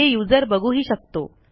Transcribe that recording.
हे युजर बघूही शकतो